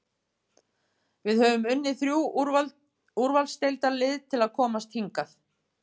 Við höfum unnið þrjú úrvalsdeildarlið til að komast hingað.